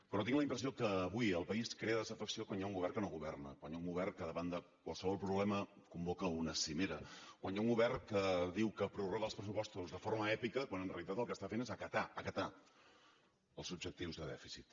però tinc la impressió que avui al país crea desafecció quan hi ha un govern que no governa quan hi ha un govern que davant de qualsevol problema convoca una cimera quan hi ha un govern que diu que prorroga els pressupostos de forma èpica quan en realitat el que està fent és acatar acatar els objectius de dèficit